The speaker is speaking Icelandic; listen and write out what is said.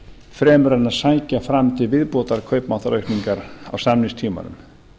fremur en að sækja fram til viðbótar kaupmáttaraukningar á samningstímanum